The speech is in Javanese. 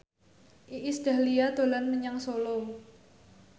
Iis Dahlia dolan menyang Solo